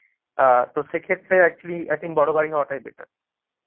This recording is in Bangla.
অ্যাঁ তো সেক্ষেত্রে actually i think বড় গাড়ি হওয়াটাই better